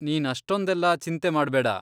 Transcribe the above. ನೀನ್ ಅಷ್ಟೊಂದೆಲ್ಲ ಚಿಂತೆ ಮಾಡ್ಬೇಡ.